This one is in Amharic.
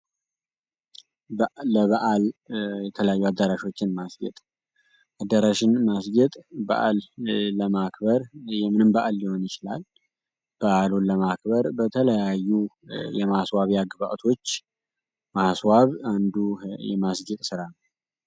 ለበዓል የተለያዩ አዳራሾችን መስጌጥ አዳራሽን ማስጌጥ በዓል ለማክበር የምን በአል ሊሆን ይችላል? በዓሉን ለማክበር በተለያዩ የማስዋቢያ ግብዓቶች ማስዋብ አንዱ የማስጌጥ ስራ ነው።